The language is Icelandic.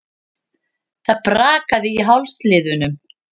Það brakaði í hálsliðunum.